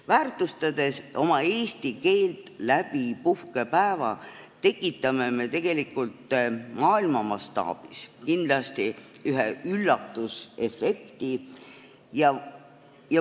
Väärtustades oma eesti keelt puhkepäeva abil, tekitame me tegelikult maailma mastaabis kindlasti üllatusefekti.